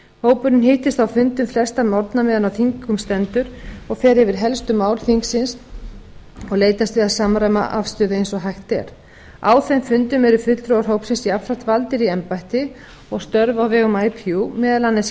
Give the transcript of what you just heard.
hópurinn hittist á fundum sextán morgna meðan á þingi stendur og fer yfir helstu mál þingsins og leitast við að samræma afstöðu eins og hægt er á þeim fundum eru fulltrúar hópsins jafnframt valdir í embætti og störf á vegum ipu meðal annars í